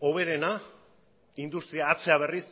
hoberena industria atzera berriz